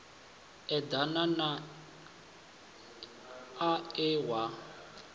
eḓana na a we a